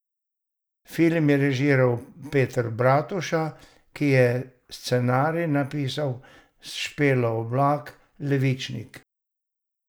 Film je režiral Peter Bratuša, ki je scenarij napisal s Špelo Oblak Levičnik.